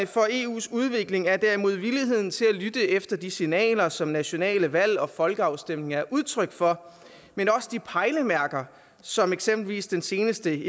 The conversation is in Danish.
for eus udvikling er derimod villigheden til at lytte efter de signaler som nationale valg og folkeafstemninger er udtryk for men også pejlemærker som eksempelvis den seneste